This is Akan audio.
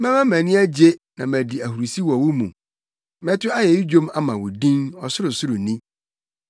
Mɛma mʼani agye na madi ahurusi wɔ wo mu. Mɛto ayeyi dwom ama wo din, Ɔsorosoroni.